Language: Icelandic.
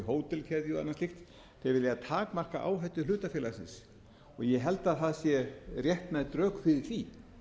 og annað slíkt þeir vilja takmarka áhættu hlutafélagsins og ég held að það séu réttmæt rök fyrir